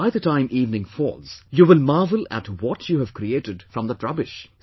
By the time evening falls, you will marvel at what you have created from that rubbish